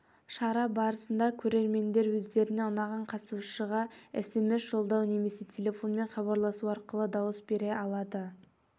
шара барысында көрермендер өздеріне ұнаған қатысушыға смс жолдау немесе телефонмен хабарласу арқылы дауыс бере алады